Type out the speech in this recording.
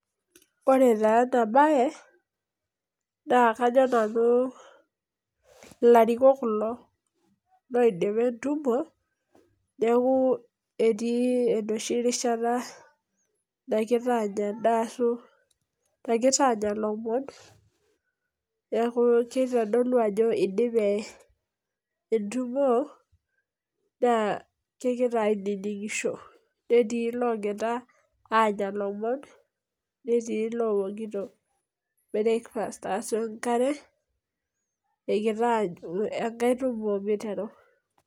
Ore taa ena bae naa, kajo nanu ilarikok kulo loidipa etumo neaku, etii enoshi rishata nagira anya endaa ashu, kegira anya ilomon. Neaku kitodolu ajo idipe etumo naa kegira aininingisho netii logira anya ilomon, netii lowokito breakfast ashu enkare egira aanyu enkae tumo miteru.